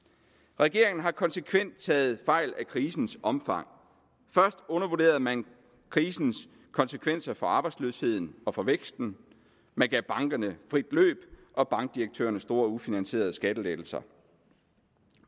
regeringen har konsekvent taget fejl af krisens omfang først undervurderede man krisens konsekvenser for arbejdsløsheden og for væksten man gav bankerne frit løb og bankdirektørerne store ufinansierede skattelettelser